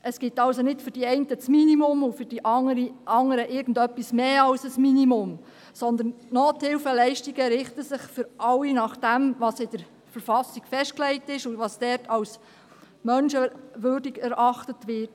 Es gibt also nicht für die einen das Minimum und für die anderen irgendetwas mehr als das Minimum, sondern die Nothilfeleistungen richten sich für alle nach dem, was in der BV festgelegt ist und was dort als menschenwürdig erachtet wird.